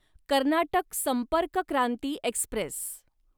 Karnataka Sampark Kranti Express